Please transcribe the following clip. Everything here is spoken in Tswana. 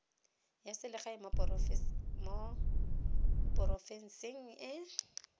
ya selegae mo porofenseng e